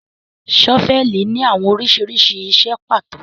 Ṣọ́fẹlì ni awọn oriṣiriṣi iṣẹ pato